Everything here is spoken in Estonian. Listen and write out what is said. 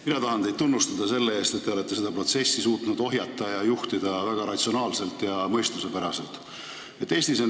Mina tahan teid tunnustada selle eest, et te olete seda protsessi suutnud ohjata ning väga ratsionaalselt ja mõistuspäraselt juhtida.